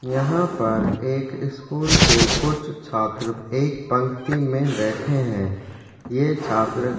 यहाँ पर एक स्कूल के कुछ छात्र एक पंक्ति में बैठे है ये छात्र--